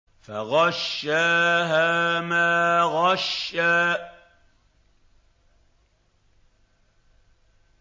فَغَشَّاهَا مَا غَشَّىٰ